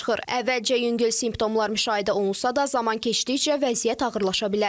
Əvvəlcə yüngül simptomlar müşahidə olunsa da, zaman keçdikcə vəziyyət ağırlaşa bilər.